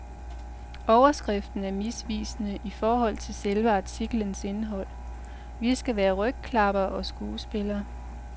Overskriften er misvisende i forhold til selve artiklens indhold. Vi skal være rygklappere og skuespillere.